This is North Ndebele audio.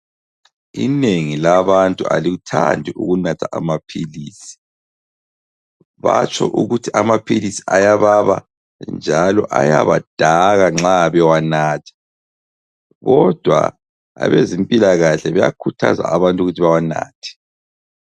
Inengi labantu alikuthandi ukunatha amaphilisi. Batsho ukuthi amaphilisi ayababa njalo ayabadaka nxa bewanatha. Kodwa abezempilakahle bayakhuthaza abantu ukuthi bawanathe.